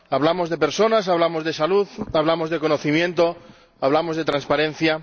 Hablamos de personas, hablamos de salud, hablamos de conocimiento, hablamos de transparencia.